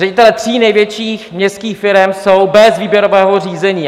Ředitelé tří největších městských firem jsou bez výběrového řízení!